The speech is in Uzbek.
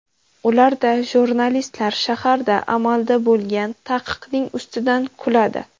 Ularda jurnalistlar shaharda amalda bo‘lgan taqiqning ustidan kuladi.